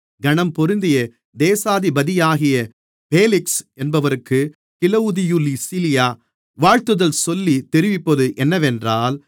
கனம்பொருந்திய தேசாதிபதியாகிய பேலிக்ஸ் என்பவருக்குக் கிலவுதியுலீசியா வாழ்த்துதல் சொல்லி தெரிவிப்பது என்னவென்றால்